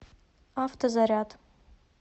автозаряд